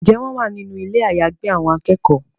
Njé wón wá nínú Ilé àyágbé àwọn akẹ́kọ̀ọ́?